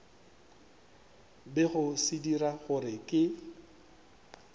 bego se dira gore ke